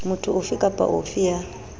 motho ofe kapa ofe ya